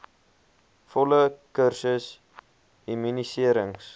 volle kursus immuniserings